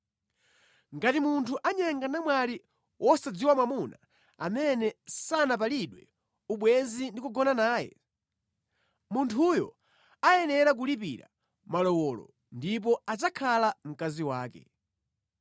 “Ngati munthu anyenga namwali wosadziwa mwamuna amene sanapalidwe ubwenzi ndi kugona naye, munthuyo ayenera kulipira malowolo ndipo adzakhala mkazi wake.